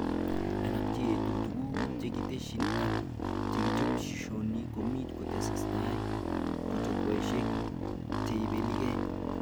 Alak cheetu tuguk chekitesyi ak cheichopishoni komuch kotestai chukwaishek cheibelike